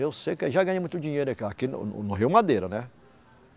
Eu sei que já ganhei muito dinheiro aqui ó, aqui no, no, no Rio Madeira, né?